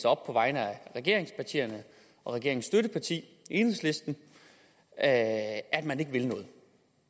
op på vegne af regeringspartierne og regeringens støtteparti enhedslisten at at man ikke vil noget